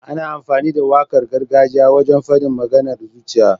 Ana amfani da waƙar gargajiya wajen faɗin maganar zuciya.